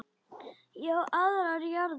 Ég á aðrar jarðir.